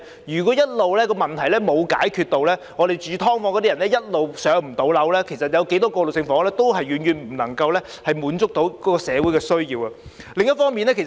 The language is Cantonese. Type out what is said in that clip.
如果問題一直沒有解決，居住在"劏房"的人一直無法"上樓"，那麼不論有多少過渡性房屋，亦遠遠無法滿足社會的需要。